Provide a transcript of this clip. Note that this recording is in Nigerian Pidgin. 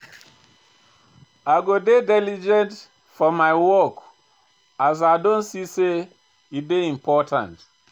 I go dey diligent for my work as I don see sey e dey important.